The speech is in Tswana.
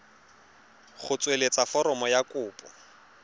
go tsweletsa foromo ya kopo